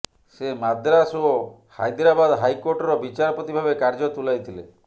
ସେ ମାଦ୍ରାସ ଓ ହାଇଦ୍ରାବାଦ୍ ହାଇକୋର୍ଟର ବିଚାରପତି ଭାବେ କାର୍ଯ୍ୟ ତୁଲାଇଥିଲେ